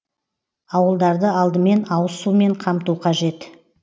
ауылдарды алдымен ауыз сумен қамту қажет